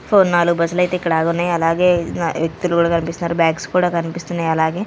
Four నాలుగు బస్సులు అయితే ఇక్కడ ఆగి ఉన్నాయి అలాగే వ్యక్తులు కూడా కనిపిస్తున్నారు బాక్స్ కూడా కనిపిస్తున్నాయి అలాగే.